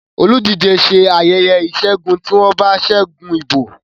oludije ṣe ayeye isegun ti wón bá ṣe ṣẹgun ìbò